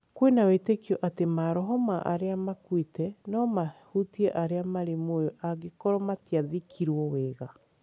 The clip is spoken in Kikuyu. Kwĩna wĩĩtĩkio atĩ maroho ma arĩa makuĩte no mahutie arĩa marĩ muoyo angĩkorwo matiathikirwo wega.